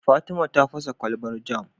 Fatima ta fasa kwalbar jam